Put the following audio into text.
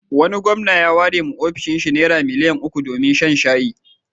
Wani gwamna ya warewa ofishinsa Naira miliyan uku domin shan shayi.